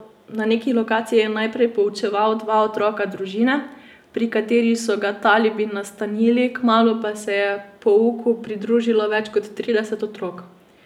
Na neki lokaciji je najprej poučeval dva otroka družine, pri kateri so ga talibi nastanili, kmalu pa se je pouku pridružilo več kot trideset otrok.